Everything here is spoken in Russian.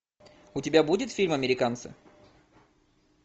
у тебя будет фильм американцы